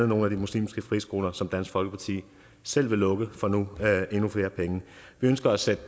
nogle af de muslimske friskoler som dansk folkeparti selv vil lukke som nu får endnu flere penge vi ønsker at sætte